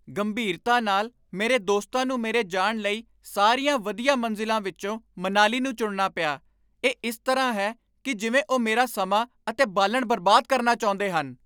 ਗੰਭੀਰਤਾ ਨਾਲ, ਮੇਰੇ ਦੋਸਤਾਂ ਨੂੰ ਮੇਰੇ ਜਾਣ ਲਈ ਸਾਰੀਆਂ ਵਧੀਆ ਮੰਜ਼ਿਲਾਂ ਵਿੱਚੋਂ ਮਨਾਲੀ ਨੂੰ ਚੁਣਨਾ ਪਿਆ। ਇਹ ਇਸ ਤਰ੍ਹਾਂ ਹੈ ਕਿ ਜਿਵੇਂ ਉਹ ਮੇਰਾ ਸਮਾਂ ਅਤੇ ਬਾਲਣ ਬਰਬਾਦ ਕਰਨਾ ਚਾਹੁੰਦੇ ਹਨ!